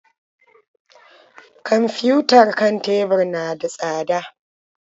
Kwamfiyutar kan tebur na da tsada.